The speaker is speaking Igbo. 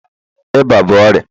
ịba bụ ọrịa